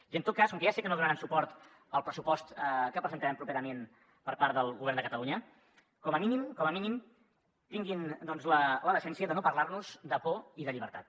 i en tot cas com que ja sé que no donaran suport al pressupost que presentarem properament per part del govern de catalunya com a mínim tinguin doncs la decència de no parlar nos de por i de llibertat